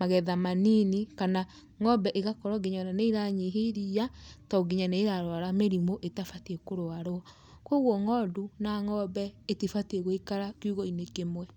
magetha manini kana ng'ombe ĩgakorwo nginya ona nĩ iranyihia iria to nginya nĩ ĩrarwara mĩrimũ ĩtabatiĩ kũrwarwo. Kwoguo ng'ondu na ng'ombe itibatiĩ gũikara kiugũ-inĩ kĩmwe.